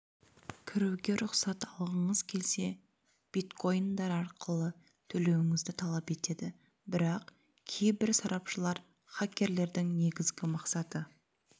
кіруге рұқсат алғыңыз келсе биткоиндар арқылы төлеуіңізді талап етеді бірақ кейбір сарапшылар хакерлердің негізгі мақсаты